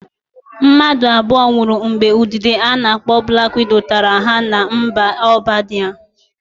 Mmadụ abụo nwụrụ mgbe udide a na-akpọ blak wido tara ha na mba Albenia.